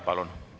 Palun!